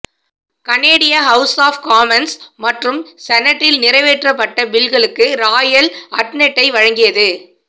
கனேடிய House of Commons மற்றும் செனட்டில் நிறைவேற்றப்பட்ட பில்களுக்கு ராயல் அட்னெட்டை வழங்கியது